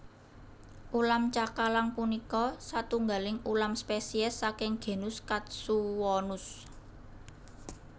Ulam cakalang punika satunggaling ulam spesies saking genus Katsuwonus